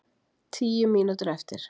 Tíu mínútur eftir